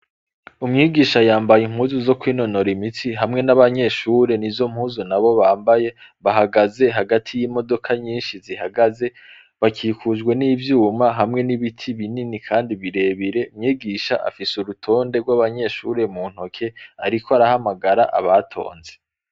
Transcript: Umwigisha yambaye impuzu zo kwinonora imitsi hamwe n'abanyeshure nizo mpuzu nabo bambaye bahagaze hagati yimodoka nyinshi zihagaze bakikujwe nivyuma hamwe n'ibiti binini kandi birebire umwigisha afise urutonde rwabanyeshure mu ntoke ariko arahamagara abatonze.